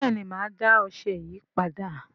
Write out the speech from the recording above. bẹẹni má dá ọṣẹ yí pàdà